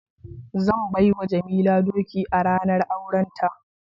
Zan bai wa Jamila doki a ranar aurenta